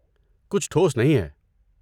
کچھ ٹھوس نہیں ہے۔